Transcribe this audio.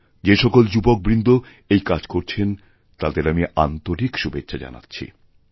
যে সকল যুবকবৃন্দ এইকাজ করছেন তাঁদের আমি আন্তরিক শুভেচ্ছা জানাচ্ছি